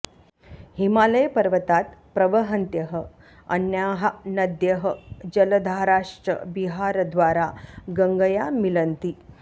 हिमालयपर्वतात् प्रवहन्त्यः अन्याः नद्यः जलधाराश्च बिहारद्वारा गङ्गया मिलन्ति